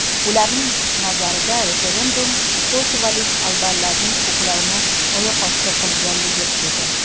Ularning nazarida referendum kosovolik albanlarning huquqlarini oyoqosti qilaganligi edi.